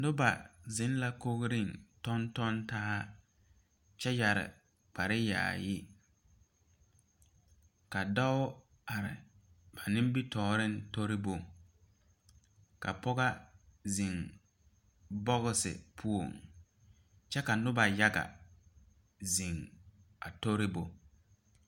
Noba zeŋ la kogreŋ tɔŋtɔŋ taa kyɛ yɛre kpare yaayi ka dɔɔ are ba nimitooreŋ toribo ka pɔgɔ zeŋ bɔgsi poɔŋ kyɛ ka nobɔ yaga zeŋ a toribo.